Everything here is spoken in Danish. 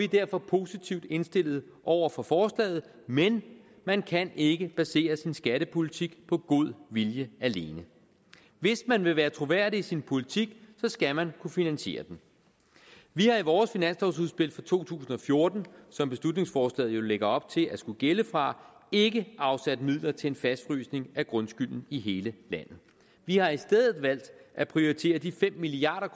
derfor positivt indstillet over for forslaget men man kan ikke basere sin skattepolitik på god vilje alene hvis man vil være troværdig i sin politik skal man kunne finansiere den vi har i vores finanslovsudspil for to tusind og fjorten som beslutningsforslaget jo lægger op til at det skulle gælde fra ikke afsat midler til en fastfrysning af grundskylden i hele landet vi har i stedet valgt at prioritere de fem milliard